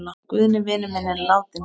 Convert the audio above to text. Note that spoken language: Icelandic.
Guðni vinur minn er látinn.